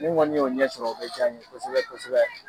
Ni n kɔni y'o ɲɛ sɔrɔ o bɛ ja n ye kosɛbɛ kosɛbɛ.